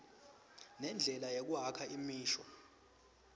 nendlela yekwakha imisho